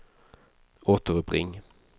återuppring